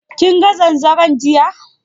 Kinga zanzaron jiya?